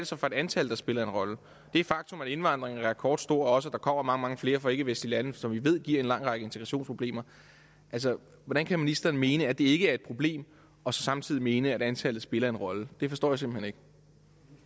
så for et antal der spiller en rolle det faktum at indvandringen er rekordstor og også kommer mange mange flere fra ikkevestlige lande som vi ved giver en lang række integrationsproblemer hvordan kan ministeren mene at det ikke er et problem og så samtidig mene at antallet spiller en rolle det forstår jeg simpelt hen ikke